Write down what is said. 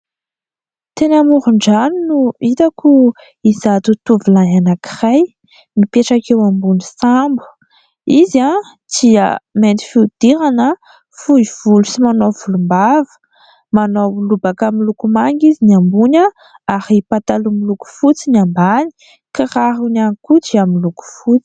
Teny amoron-drano no hitako izato tovolahy anankiray mipetraka eo ambony sambo. Izy dia mainty fihodirana, fohy volo sy manao volombava. Manao lobaka miloko manga izy ny ambony ary pataloha miloko fotsy ny ambany. Kirarony ihany koa dia miloko fotsy.